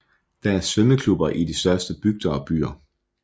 Der er svømmeklubber i de største bygder og byer